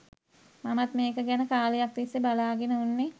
මමත් මේක ගැන කාලයක් තිස්සේ බලාගෙන උන්නේ